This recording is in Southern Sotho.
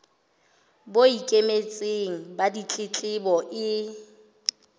bo ikemetseng ba ditletlebo e